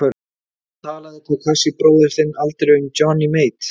En talaði Takashi bróðir þinn aldrei um Johnny Mate?